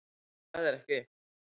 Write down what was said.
Það er ekki